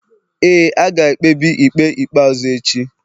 ee, a ga-ekpebi ikpe ikpe ikpeazụ echi